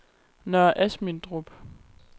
Nørre Asmindrup